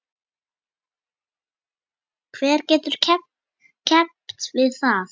Hver getur keppt við það?